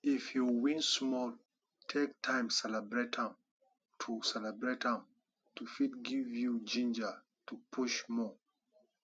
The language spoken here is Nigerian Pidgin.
if you win small take time celebrate am to celebrate am to fit give you ginger to push more